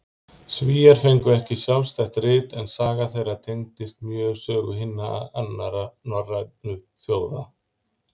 Svíar fengu ekki sjálfstætt rit, en saga þeirra tengist mjög sögu hinna annarra norrænu þjóða.